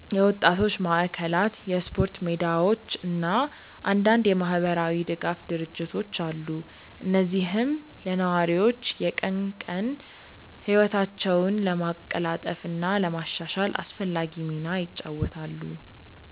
የወጣቶች ማዕከላት፣ የስፖርት ሜዳዎች እና አንዳንድ የማህበራዊ ድጋፍ ድርጅቶች አሉ፣ እነዚህም ለነዋሪዎች የቀን ቀን ህይወታቸውን ለማቀላጠፍ እና ለማሻሻል አስፈላጊ ሚና ይጫወታሉ።